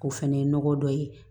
O fɛnɛ ye nɔgɔ dɔ ye